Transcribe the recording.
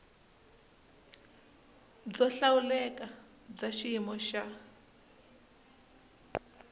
byo hlawuleka bya xiyimo xa